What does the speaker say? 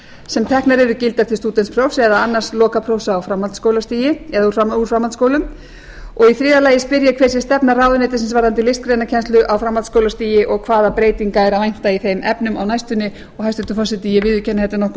sem teknar eru gildar til stúdentsprófs eða annars lokaprófs á framhaldsskólastigi eða úr framhaldsskólum og í þriðja lagi spyr ég hver sé stefna ráðuneytisins varðandi listgreinakennslu á framhaldsskólastigi og hvaða breytinga er að vænta í þeim efnum á næstunni og hæstvirtur forseti ég viðurkenni að þetta er nokkuð